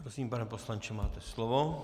Prosím, pane poslanče, máte slovo.